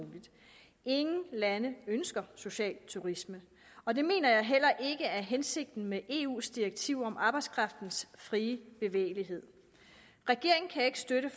ingen lande ønsker social turisme og det mener jeg heller ikke er hensigten med eus direktiv om arbejdskraftens frie bevægelighed regeringen kan ikke støtte